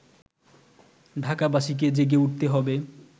ঢাকাবাসীকে জেগে উঠতে হবে